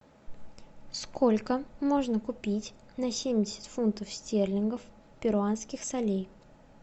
сколько можно купить на семьдесят фунтов стерлингов перуанских солей